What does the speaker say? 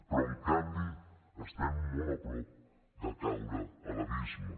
però en canvi estem molt a prop de caure a l’abisme